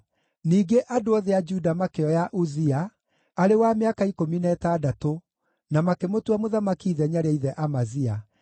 Ningĩ andũ othe a Juda makĩoya Uzia, arĩ wa mĩaka ikũmi na ĩtandatũ, na makĩmũtua mũthamaki ithenya rĩa ithe Amazia.